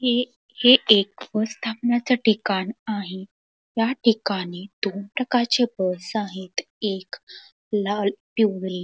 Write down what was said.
हे हे एक व्यवस्थापनाच ठिकाण आहे याठिकाणी दोन प्रकारचे बस आहेत एक लाल पिवळी--